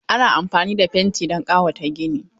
Ana amfani da fenti don ƙawata gini.